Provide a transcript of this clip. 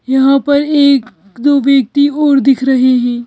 यहाँ पर एक दो व्यक्ति और दिख रहे हैं।